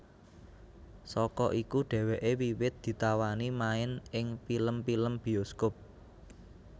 Saka iku dheweke wiwit ditawani main ing pilem pilem biyoskop